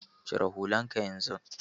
Cire hullan ka yanzu!